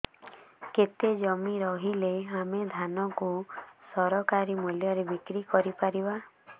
କେତେ ଜମି ରହିଲେ ଆମେ ଧାନ କୁ ସରକାରୀ ମୂଲ୍ଯରେ ବିକ୍ରି କରିପାରିବା